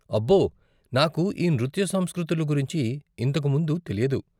అబ్బో, నాకు ఈ నృత్య సంస్కృతులు గురించి ఇంతకు ముందు తెలియదు.